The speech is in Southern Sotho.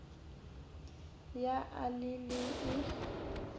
ya a le e le